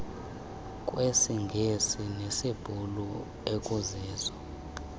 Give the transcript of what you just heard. kwesingesi nesibhulu ekuzizo